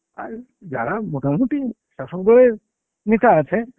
আর যারা মোটামুটি চসম্খর নেতা আছে